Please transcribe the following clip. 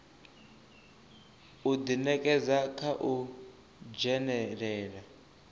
u ḓinekedza kha u dzhenelela